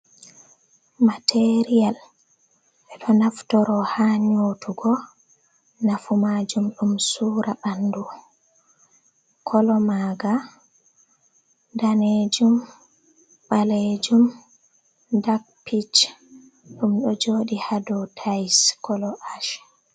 Material beɗo naftoro ha nyotugo nafu majum ɗum sura ɓandu kolo maga danejum balejum dak pich ɗum ɗo jodi hado tais kolo ash.